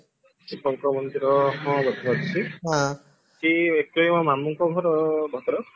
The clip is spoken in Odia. ଶିବଙ୍କ ମନ୍ଦିର ହଁ ବୋଧେ ଅଛି ସେ actually ମୋ ମାମୁଁଙ୍କ ଘର ଭଦ୍ରକ